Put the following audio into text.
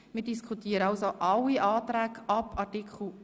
Wir diskutieren also sämtliche Anträge ab Artikel 19.